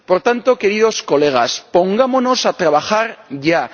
Por tanto, queridos colegas, pongámonos a trabajar ya.